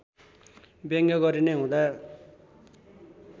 व्यङ्ग्य गरिने हुँदा